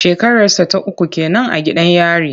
Shekararsa ta uku ke nan a gidan yari.